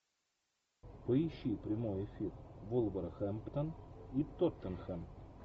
поищи прямой эфир вулверхэмптон и тоттенхэм